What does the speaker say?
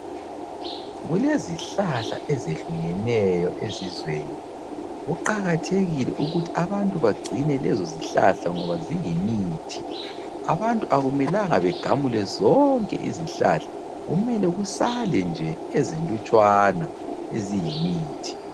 Kulezihlahla ezehlukeneyo ezizweni. Kuqakathekile ukuthi abantu bagcine lezozihlahla ngoba ziyimithi. Abantu akumelanga begamule zonke izihlahla, kumele kusale nje ezinlutshwana eziyimithi.